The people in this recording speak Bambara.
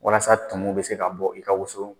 Walasa tumu bɛ se ka bɔ i ka woso